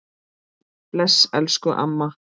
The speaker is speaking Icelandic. Bless elsku amma.